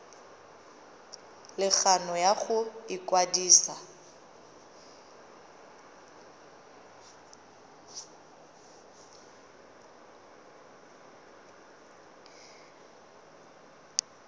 le kgano ya go ikwadisa